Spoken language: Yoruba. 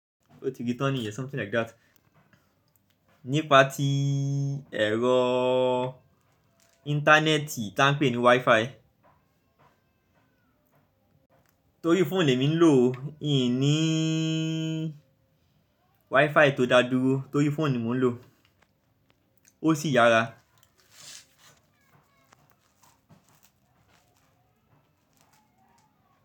O ti di tọ́ ni yen, something like that. Nípa tí ẹ̀rọ ìntanẹ́ẹ̀tì ta ń pè ní Wi-Fi. Tori phone le mi nlo o, in nii wifi to da duro tori phone ni mo nlo. O si yara.